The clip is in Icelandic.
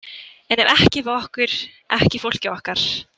En ekki við okkur, ekki fólkið okkar.